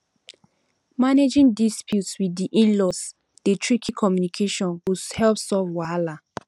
managing disputes with um inlaws dey tricky communication go help solve wahala